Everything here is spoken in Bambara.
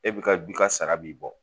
E bi ka bi ka sara b'i bɔ